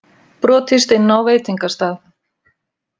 Brotist inn á veitingastað